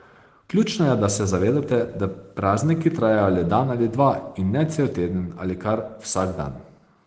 Ključno je, da se zavedate, da prazniki trajajo le dan ali dva in ne cel teden ali kar vsak dan.